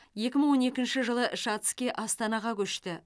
екі мың он екінші жылы шацкий астанаға көшті